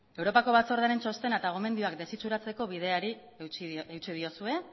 europako batzordearen txostena eta gomendioak desitxuratzeko bideari eutsi diozue